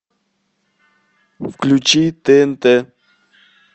включи тнт